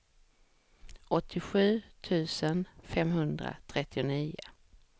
åttiosju tusen femhundratrettionio